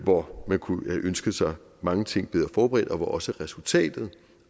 hvor man kunne have ønsket sig mange ting bedre forberedt og hvor også resultatet